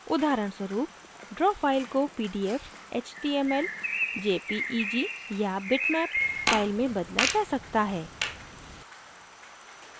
उदाहरणस्वरूप draw file को pdf html jpeg या बिटमैप file में बदला जा सकता है